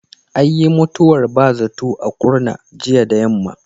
Ayyin mutuwar ba zato a Kurna jiya da yammam.